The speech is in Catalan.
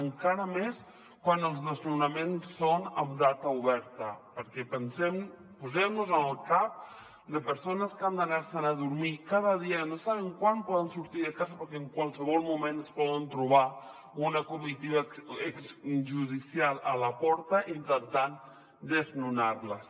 en·cara més quan els desnonaments són amb data oberta perquè posem·nos en el cap de persones que han d’anar·se’n a dormir cada dia no saben quan poden sortir de casa perquè en qualsevol moment es poden trobar una comitiva judicial a la porta intentant desnonar·les